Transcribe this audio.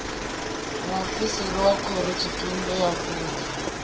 muofisiri wa khorotshitumbe wa vunḓu